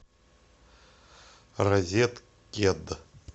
розеткед